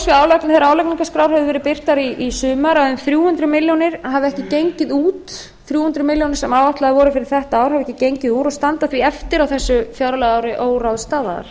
álagningarskrár höfðu verið birtar í sumar að um þrjú hundruð milljóna króna hafi ekki gengið út þrjú hundruð milljónir sem áætlaðar voru fyrir þetta ár hafi ekki gengið út og standa því eftir á þessu fjárlagaári óráðstafaðar